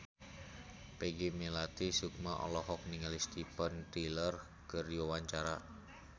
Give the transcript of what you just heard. Peggy Melati Sukma olohok ningali Steven Tyler keur diwawancara